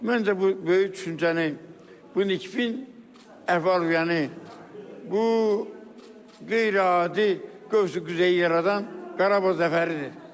Məncə, bu böyük düşüncəni, bu nikbin əhval-ruhiyyəni bu qeyri-adi qövsü-qüzeh yaradan Qarabağ zəfəridir.